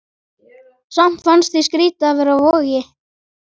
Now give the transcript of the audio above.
Samt fannst mér skrýtið að vera á Vogi.